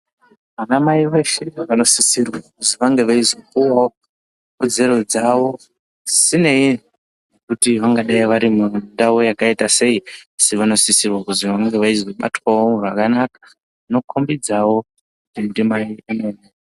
Ana Mai veshe vanosirwa kuti vange veipiwa kodzero dzavo zvisinei nekuti vangadai vari mu ndau yakaita sei asi vanosisa kunge veibatwawo zvakanaka zvinokombidzawo kuti ndimai vemene.